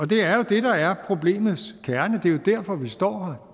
det er jo det der er problemets kerne det er derfor vi står